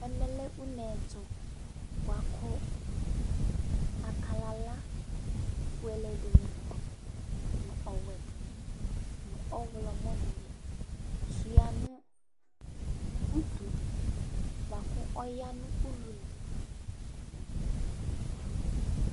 Ɛmɛ lɛ une ɛtʋ bʋa kʋ akalala fuele dɩnɩ nʋ ɔwɛ dɩnɩ, nʋ ɔɣlɔmɔ dɩnɩ sʋɩa nʋ utu dɩ bʋa kʋ ɔya nʋ ulu li